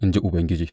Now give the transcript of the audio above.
in ji Ubangiji.